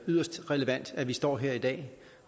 yderst relevant at vi står her i dag